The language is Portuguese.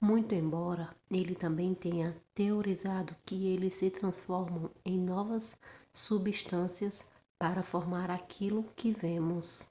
muito embora ele também tenha teorizado que eles se transformam em novas substâncias para formar aquilo que vemos